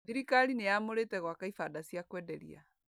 Thirikari nĩyamũrĩte gwaka ibanda cia kwenderia.